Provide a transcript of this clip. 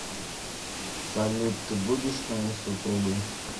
салют ты будешь моей супругой